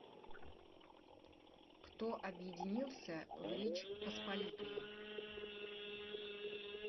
кто объединился в речь посполитую